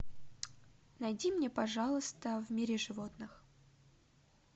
найди мне пожалуйста в мире животных